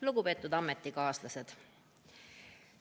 Lugupeetud ametikaaslased!